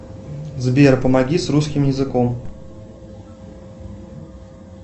сбер помоги с русским языком